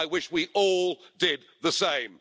I wish we all did the same.